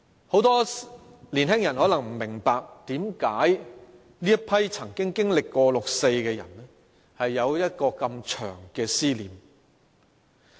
很多年青人可能不明白，為何這群曾經經歷六四的人有如此長的思念。